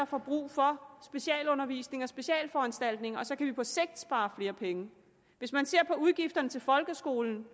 får brug for specialundervisning og specialforanstaltninger og så kan vi på sigt spare flere penge hvis man ser på udgifterne til folkeskolen